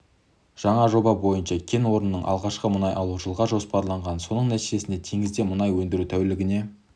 жаңа жоба бойынша кен орнынан алғашқы мұнай алу жылға жоспарланған соның нәтижесінде теңізде мұнай өндіру тәулігіне